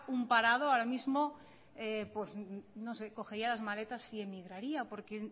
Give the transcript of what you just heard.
un parado ahora mismo pues no sé cogería las maletas y emigraría porque